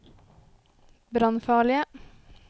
brannfarlige